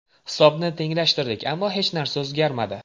Hisobni tenglashtirdik, ammo hech narsa o‘zgarmadi.